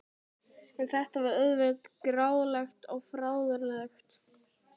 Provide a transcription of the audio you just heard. En þetta var auðvitað grátlegt og fáránlegt.